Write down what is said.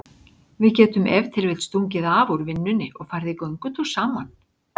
Við getum ef til vill stungið af úr vinnunni og farið í göngutúr saman.